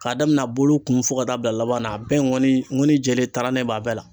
K'a daminɛ a bolo kun fo ka taa bil'a laban na, a bɛɛ ŋɔni ŋɔni jɛlen taranen b'a bɛɛ la